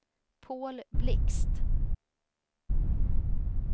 Paul Blixt